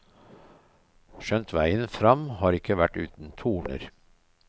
Skjønt veien frem har ikke vært uten torner.